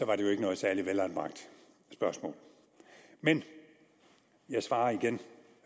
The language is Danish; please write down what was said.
var det jo ikke noget særlig velanbragt spørgsmål men jeg svarer igen